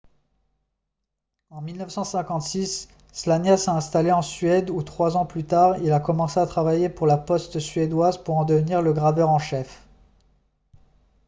en 1956 słania s'est installé en suède où trois ans plus tard il a commencé à travailler pour la poste suédoise pour en devenir le graveur en chef